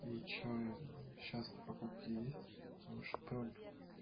и что и сейчас-то покупке есть ну чтоб